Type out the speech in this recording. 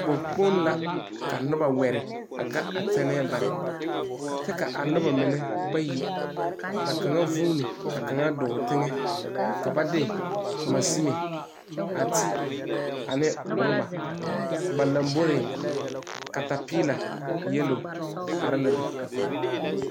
Bogi kpoŋ la ka noba wɛre a ga a tɛnɛɛ bare kyɛ ka noba mine bayi ka kaŋ vuuni kyɛ ka kaŋ dɔɔ teŋe. Ba de la maŋsuni ti ne ɔrɔba. A ba laŋboreŋ katapiila yeloo arɛɛ la.